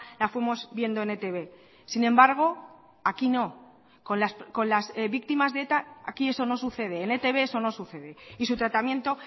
la fuimos viendo en etb sin embargo aquí no con las víctimas de eta aquí eso no sucede en etb eso no sucede y su tratamiento